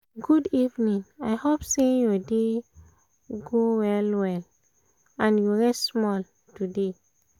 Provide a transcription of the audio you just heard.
good evening! i hope say your day um go well um and you rest small um today